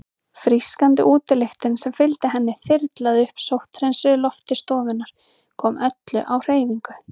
Frískandi útilyktin sem fylgdi henni þyrlaði upp sótthreinsuðu lofti stofunnar, kom öllu á hreyfingu.